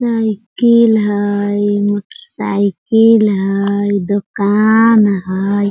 Cycle हई motor cycle हई दुकान हई।